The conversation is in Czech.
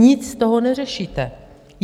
Nic z toho neřešíte.